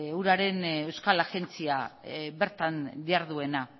uraren euskal agentzia bertan diharduena